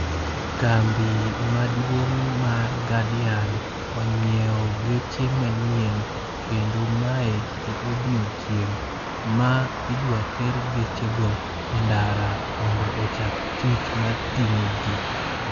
Kambi maduong' mar Guardian inyiewo geche manyien, kendo mae e odiechieng' ma idwa ter geche go e ndara mondo ochak tich mar ting'o ji.